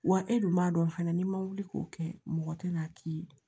Wa e dun m'a dɔn fana n'i ma wuli k'o kɛ mɔgɔ tɛna k'i ye